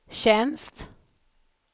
tjänst